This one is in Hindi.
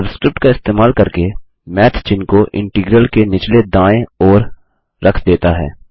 सबस्क्रिप्ट का इस्तेमाल करके मैथ चिन्ह को इंटीग्रल के निचले दायें ओर रख देता है